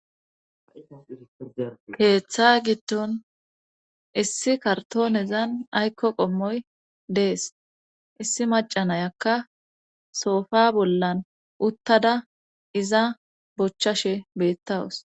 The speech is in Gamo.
keeththa gidon issi kartoonezan aykko qommoy dees issi macanayakka soofa bollan uttada iza bochchashe beettawus